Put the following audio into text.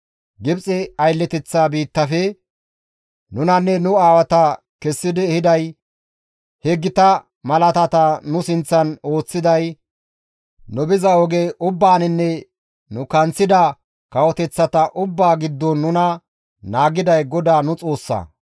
Gibxe aylleteththa biittafe, nunanne nu aawata kessidi ehiday, he gita malaatata nu sinththan ooththiday, nu biza oge ubbaaninne nu kanththida kawoteththata ubbaa giddon nuna naagiday GODAA nu Xoossaa.